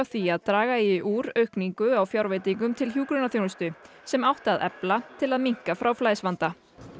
því að draga eigi úr aukningu á fjárveitingum til hjúkrunarþjónustu sem átti að efla til að minnka fráflæðisvanda